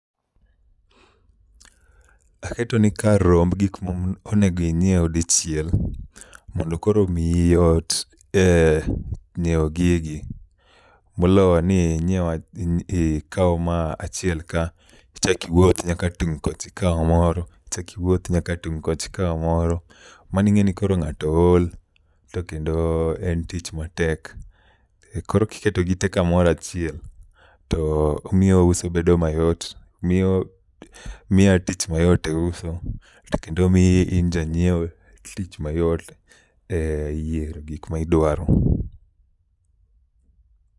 Aketoni kar romb gik ma onego inyiew dichiel mondo koro omiyi yot e nyiewo gigi moloyo ni inyiew ikaw ma achiel ka ichak iwuoth nyaka tung' kocha ikaw moro, ichak iwuoth nyaka tung' kocha ikaw moro. Mano ing'e ni koro ng'ato ool to kendo en tich matek. Koro kiketo gite kamoro achiel t omio uso bedo mayot, miya tich mayot e uso o kendo miyi in janyiewo tich mayot eyiero gik ma idwaro